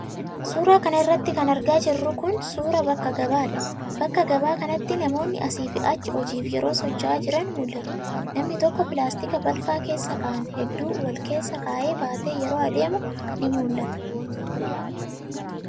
Suura kana irratti kan argaa jirru kun, suura bakka gabaa dha. Bakka gabaa kanatt,i namoonni asii fi achi hojiif yeroo socho'aa jiran mul'atu. Namni tokko pilaastika balfa keessa ka'an heduu wal keessa kaa'ee baatee yeroo adeemu ni mul'ata.